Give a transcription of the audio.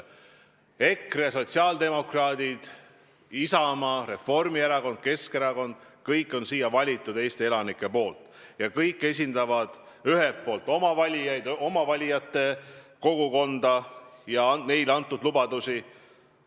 EKRE, sotsiaaldemokraadid, Isamaa, Reformierakond, Keskerakond – kõiki on siia valinud Eesti elanikud ja kõik esindavad oma valijaid, oma valijate kogukonda, ja neile antud lubadusi.